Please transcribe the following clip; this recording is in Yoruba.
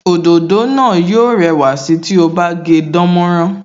Òdòdó náà yó rẹwà sí ti o bá gé dánmọ́nrán